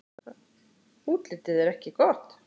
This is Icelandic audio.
Útlitið er ekki gott.